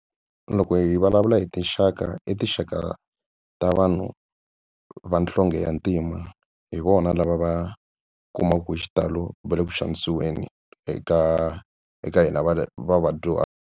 Loko hi vulavula hi tinxaka i tinxaka ta vanhu vanhlonge ya ntima hi vona lava va kumaka ku hi xitalo va le ku xavisiweni eka eka hina va va vadyuhari.